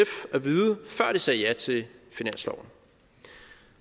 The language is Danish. at vide før de sagde ja til finansloven